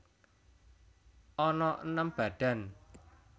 Ana enem badan